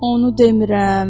Onu demirəm.